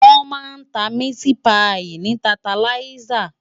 Wòn má n tá miti páyi ni tántáláyisá